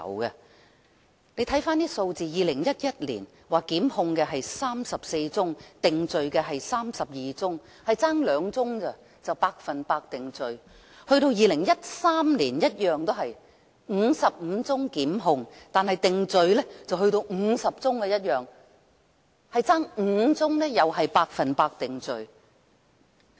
我們看看數字 ，2011 年有34宗檢控個案 ，32 宗被定罪，只差2宗便達致 100% 定罪了 ；2013 年的情況相同，便是55宗檢控 ，50 宗定罪，只差5宗便達致 100% 定罪。